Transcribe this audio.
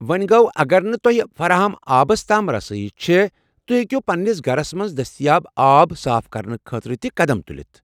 ووٚنہِ گوٚو اگر نہٕ تۄہہ فراہم آبس تام رسٲیی چھے٘، تُہۍ ہیکِو پنٛنس گھرس منٛز دٔستیاب آب صاف کرنہٕ خٲطرٕ تہِ قدم تُلِتھ ۔